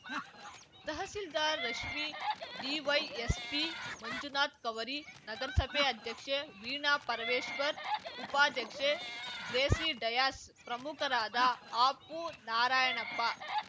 tahsildar Rashmi DYSP Manjunath Kavari ನಗರಸಭೆ ಅಧ್ಯಕ್ಷೆ ವೀಣಾ ಪರಮೇಶ್ವರ್‌ ಉಪಾಧ್ಯಕ್ಷೆ ಗ್ರೇಸಿ ಡಯಾಸ್‌ ಪ್ರಮುಖರಾದ ಅಪು ನಾರಾಯಣಪ್ಪ